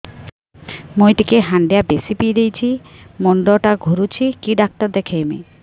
ମୁଇ ଟିକେ ହାଣ୍ଡିଆ ବେଶି ପିଇ ଦେଇଛି ମୁଣ୍ଡ ଟା ଘୁରୁଚି କି ଡାକ୍ତର ଦେଖେଇମି